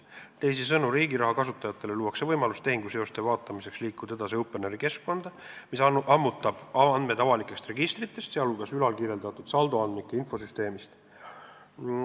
Teisisõnu, Riigiraha portaali kasutajatele luuakse võimalus liikuda tehinguseoste vaatamiseks edasi Openeri keskkonda, mis ammutab andmed avalikest registritest, sh ülalkirjeldatud saldoandmike infosüsteemist.